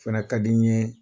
o fana ka di n ye